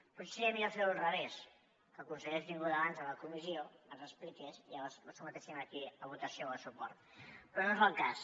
potser seria millor fer ho al revés que el conseller hagués vingut abans a la comissió ens l’expliqués i llavors ho sotmetéssim aquí a votació o a suport però no és el cas